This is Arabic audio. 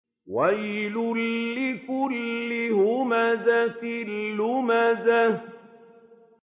وَيْلٌ لِّكُلِّ هُمَزَةٍ لُّمَزَةٍ